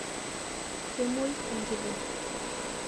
kemoi enkiteng